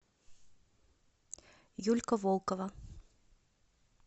юлька волкова